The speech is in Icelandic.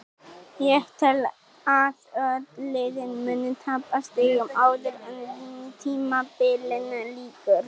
Ég tel að öll liðin muni tapa stigum áður en tímabilinu lýkur.